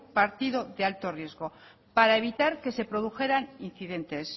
partido de alto riesgo para evitar que se produjeran incidentes